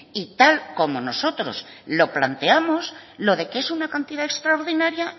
y tal como nosotros lo planteamos lo de que es una cantidad extraordinaria